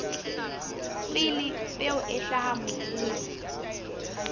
pele peo e hlaha mobung